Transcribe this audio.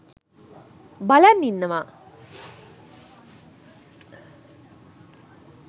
බලන් ඉන්නවා